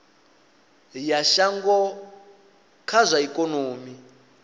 ya shango kha zwa ikonomi